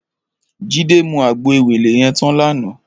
Jide mú àgbó éwélé yèn tán làná